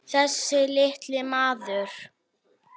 Þessi litli maður.